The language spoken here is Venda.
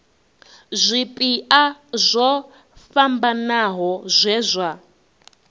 zwipia zwo fhambanaho zwe zwa